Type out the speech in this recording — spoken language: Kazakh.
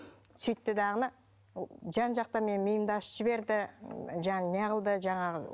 сөйтті дағыны жан жақтан менің миымды ашытып жіберді неғылды жаңағы